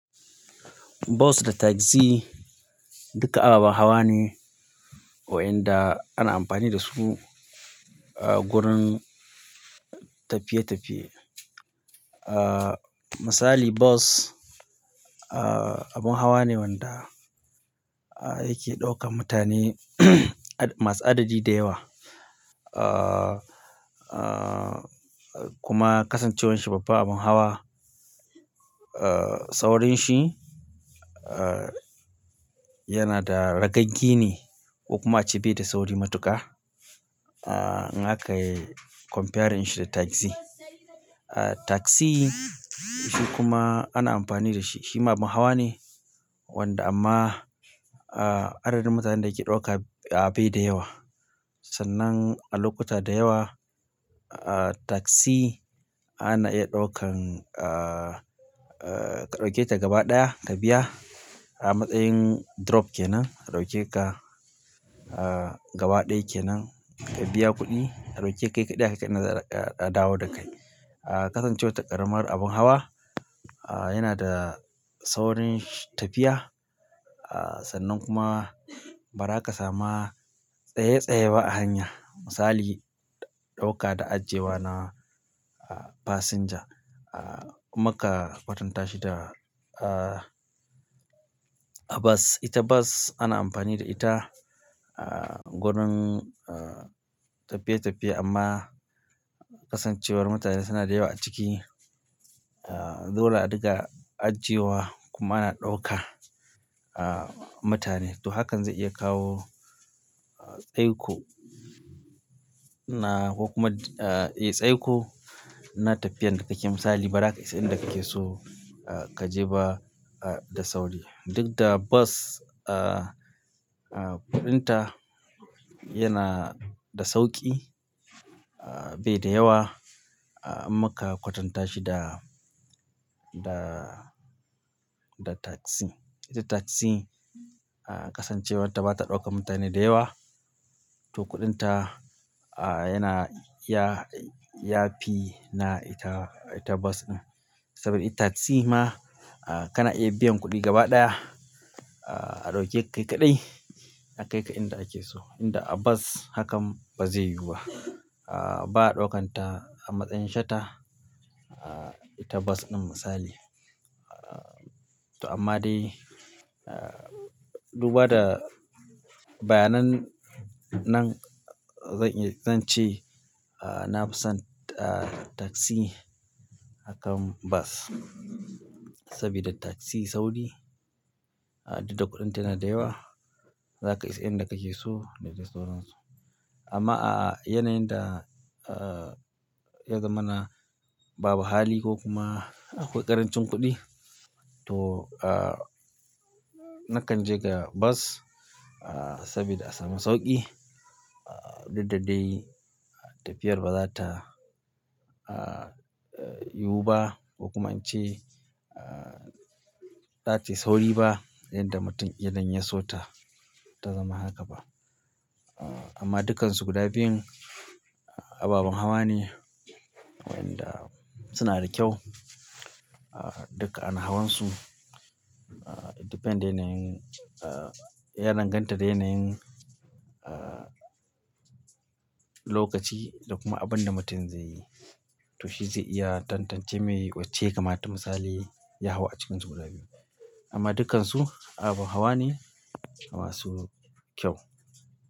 Bus da taxi duka ababen hawa ne wa'inda ana amfani da su wurin tafiye-tafiye. Misali bus abin hawa ne wanda yake ɗaukan mutane masu adadi da yawa. Kuma kasancewar shi babbar abin hawa, saurin shi yana da ragagi ne, ko kuma a ce be da sauri matuƙa. In a kai comparing shi da taxi. Taxi shi kuma ana amfani da shi. Shi ma abin hawa ne wanda amma adadin mutanen da yake ɗauka bai da yawa. Sannan a lokuta da yawa taxi ana iya ɗaukan, ka ɗauke ta gaba ɗaya ka biya a matsayin drop ke nan. A ɗauke ka gaba ɗaya ke nan ka biya kuɗi. A ɗauke kai kaɗai aka kai za ka a dawo da kai. Kasancewar ta ƙaramar abin hawa yana da saurin tafiya sannan kuma ba za ka sama tsaye-tsaye ba a hanya. Misali ɗauka da ajiyewa na passenger in muka kwatanta shi da bus. Ita bus ana amfani da ita gurin tafiye-tafiye amma kasancewar mutane suna da yawa a ciki, dole a dunga ajiyewa kuma ana ɗauka mutane. To hakan zai iya kawo tsaiko na ko kuma tsaiko na tafiyar da kake yi. Misali ba za ka isa inda kake so ka je ba da sauri. Duk da bus kuɗin ta yana da sauƙi bai da yawa in muka kwatanta shi da, da taxi. Ita taxi kasancewar ta bata ɗaukan mutane da yawa to kuɗin ta yana yafi na ita bus ɗin. Saboda ita taxi ma kana iya biyan kuɗi gaba ɗaya a ɗauke kai kaɗai a kai ka inda kake so. Inda a bus hakan ba zai yiwu ba. Ba a ɗaukan ta a matsayin shata ita bus ɗun misali to amma dai, duba da bayanan nan zan ce na fi son taxi akan bus. Saboda taxi sauri duk da kuɗin ta yana da yawa. Za ka isa inda kake so dadai sauransu. Amma a yanayin da, ya zamana babu hali ko kuma akwai ƙarancin kuɗi to nakan je ga bus sabida a samu sauƙi. Duk da dai tafiyar ba za ta yiwu ba ko kuma in ce ba za ta yi sauri ba yanda mutum idan ya so ta, ta zama haka ba. Amma dukkansu guda biyun ababen hawa ne wa'inda suna da kyau duka ana hawansu. It depends yanayin, ya danganta da yanayin lokaci da kuma abunda mutum zai yi. To shi zai iya tantance mai wacce ya kamata misali, ya hau a cikinsu guda biyun. Amma dukkansu abun hawa ne masu kyau.